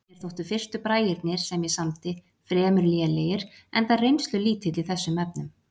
Mér þóttu fyrstu bragirnir, sem ég samdi, fremur lélegir enda reynslulítill í þessum efnum.